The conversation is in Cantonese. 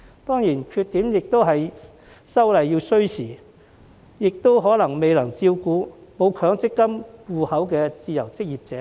當然，缺點是修例需時，以及可能未能照顧到沒有強積金戶口的自由職業者。